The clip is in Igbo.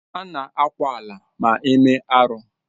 Ana ákwà ala ma eme arụ.